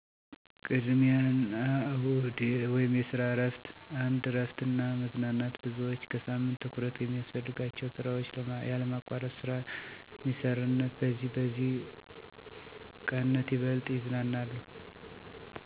ቅድሚያ አና እሁድ (የሰራ እረፍት ) 1, እረፍት እና መዝናናት _ብዙዎች ከሳምንቱ ትኩረት የሚያስፈልጋቸውን ስራዎች ያለማቋረጥ ስለ ሚሰረነት በዚህም በዚህ ቀነት ይበልጥ ይዝናናሉ። ጨዋታ መጨዉት ለምሳሌ፦ ረዝም የእንቅልፍ ስዓት፣ ቴቪ/ፊልም ማየት፣ ሙዝቃ መሰማት በአጠቃላይ፦ ቅድሜ አና እሁድ ለእረፍት፣ ለቤተሰቡ አና ለግላዊ እንቅስቃሴዎች። የሚያገለግሉ ሲሆን፣ ሰኞ _አርብ ደግሞ ለሰራ፣ ትምህርት አና አሰፈላጊ ነገሮች የሚያገለግሉ። እርሰዋሰ በየሳምንቱ እነዚህን ቀናት እንዴት ታሳልፍሉ የሚያካፍሉ ብትሆኑ ደስ ይለኛል።